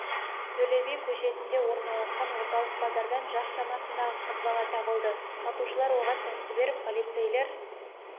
төле би көшесінде орналасқан орталық базардан жас шамасындағы қыз бала табылды сатушылар оған тәтті беріп полицейлер